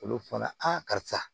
Olu fɔnɔ karisa